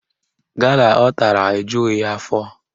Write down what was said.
Gala ọ tara ejughị ya afọ